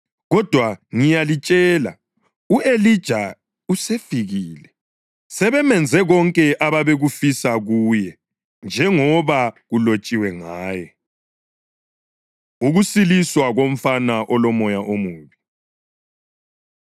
Kodwa ngiyalitshela, u-Elija usefikile, sebemenze konke ababekufisa kuye njengoba kulotshiwe ngaye.” Ukusiliswa Komfana Olomoya Omubi